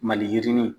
Maliyirini